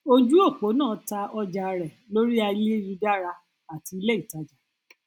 ojúòpó náà ta àwọn ọjà rẹ lórí ayélujára àti ilé ìtajà